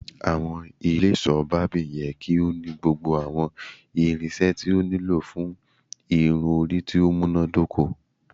Awọn ile iṣọ Barbing yẹ ki o ni gbogbo awọn irinṣẹ ti o nilo fun irun-ori ti o munadoko